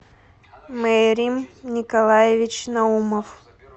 мерим николаевич наумов